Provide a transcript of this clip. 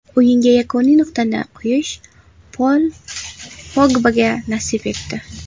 O‘yinga yakuniy nuqtani qo‘yish Pol Pogbaga nasib etdi.